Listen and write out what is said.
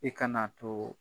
I kana too